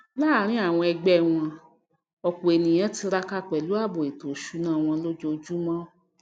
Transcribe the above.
láàrín àwọn ẹgbé wọn òpò ènìyàn tiraka pèlú ààbò ètò ìsúná wọn lójójúmó